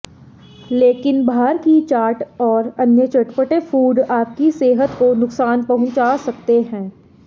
लेकिन बाहर की चाट और अन्य चटपटे फूड आपकी सेहत को नुकसान पहुंचा सकते हैं